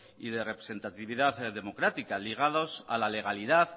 y de representatividad democrática ligados a la legalidad